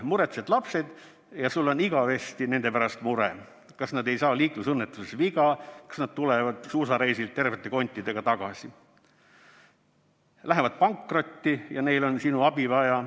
Muretsed lapsed ja sul on igavesti nende pärast mure: kas nad ei saa liiklusõnnetustes viga, kas nad tulevad suusareisilt tervete kontidega tagasi, lähevad pankrotti ja neil on sinu abi vaja.